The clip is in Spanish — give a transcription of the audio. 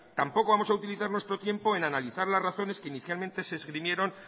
tampoco vamos a utilizar nuestro tiempo en analizar las razones que inicialmente se esgrimieron